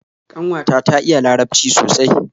Kanwata ta iya larabci sosai